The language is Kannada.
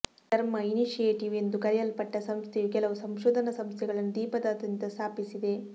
ಧರ್ಮಾ ಇನಿಶಿಯೇಟಿವ್ ಎಂದು ಕರೆಯಲ್ಪಟ್ತ ಸಂಸ್ಥೆಯು ಕೆಲವು ಸಂಶೋಧನಾ ಸಂಸ್ಥೆಗಳನ್ನು ದ್ವೀಪದಾದ್ಯಂತ ಸ್ಥಾಪಿಸಿದೆ